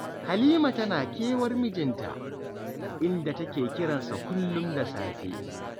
Halima tana kewar mijinta, inda take kiran sa kullum da safe